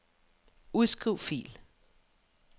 Udskriv fil.